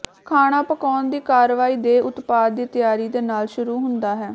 ਖਾਣਾ ਪਕਾਉਣ ਦੀ ਕਾਰਵਾਈ ਦੇ ਉਤਪਾਦ ਦੀ ਤਿਆਰੀ ਦੇ ਨਾਲ ਸ਼ੁਰੂ ਹੁੰਦਾ ਹੈ